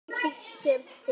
Dreif sig síðan til